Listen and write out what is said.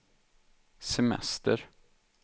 semester